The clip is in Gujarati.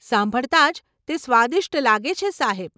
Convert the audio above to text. સાંભળતા જ તે સ્વાદિષ્ટ લાગે છે સાહેબ.